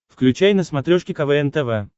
включай на смотрешке квн тв